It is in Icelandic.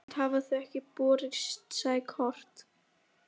Vitaskuld hafa þau ekki borist, sagði Kort.